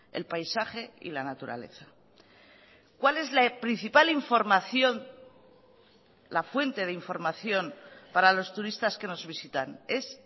el paisaje y la naturaleza cuál es la principal información la fuente de información para los turistas que nos visitan es